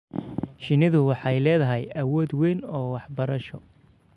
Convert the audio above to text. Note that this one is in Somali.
Shinnidu waxay leedahay awood weyn oo waxbarasho.